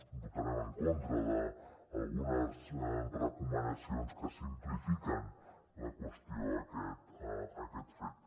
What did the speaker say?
votarem en contra d’algunes recomanacions que simplifiquen la qüestió a aquest fet